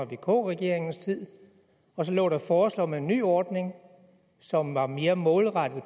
vk regeringens tid og så lå der et forslag om en ny ordning som var mere målrettet